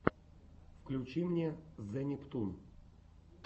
включи мне зе нептун